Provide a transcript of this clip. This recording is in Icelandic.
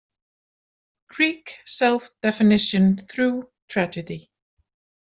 Greek Self-Definition Through Tragedy.